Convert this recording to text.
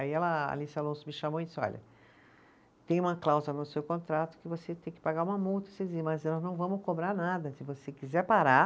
Aí ela, a Alice Alonso me chamou e disse, olha, tem uma cláusula no seu contrato que você tem que pagar uma multa, mas nós não vamos cobrar nada, se você quiser parar